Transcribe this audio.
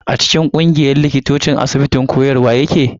A cikin ƙungiyar likitocin asibitin koyarwa nake.